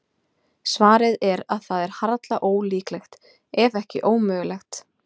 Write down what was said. Svarið er að það er harla ólíklegt, ef ekki ómögulegt.